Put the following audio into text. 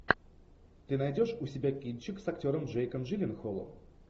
ты найдешь у себя кинчик с актером джейком джилленхолом